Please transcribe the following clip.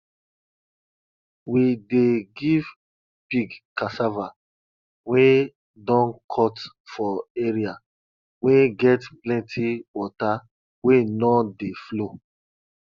we dey give pig cassava wey don cut for area wey get plenti water wey no dey flow